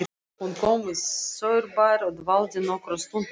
Hún kom í Saurbæ og dvaldi nokkra stund í kirkjunni.